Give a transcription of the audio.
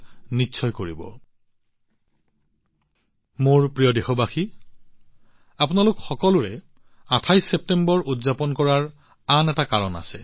অৱশ্যে মোৰ মৰমৰ দেশবাসীসকল আপোনালোক সকলোৱে ২৮ ছেপ্টেম্বৰ উদযাপন কৰাৰ আন এটা কাৰণ আছে